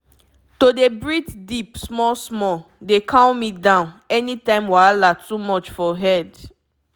to dey breathe deep small-small dey calm me down anytime wahala too much for head.